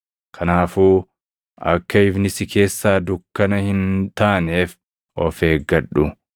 Kanaafuu akka ifni si keessaa dukkana hin taaneef of eeggadhu.